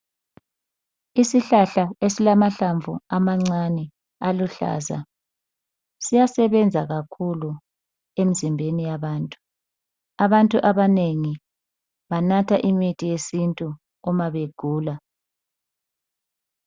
Isihlahla esilamahlamvu amancane aluhlaza siyasebenza kakhulu emizimbeni yabantu abantu abanengi banatha imithi yesintu uma begula